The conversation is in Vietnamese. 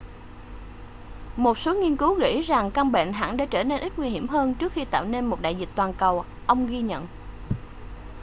một số nghiên cứu gợi ý rằng căn bệnh hẳn là đã trở nên ít nguy hiểm hơn trước khi tạo nên một đại dịch toàn cầu ông ghi nhận